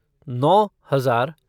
नौ हजार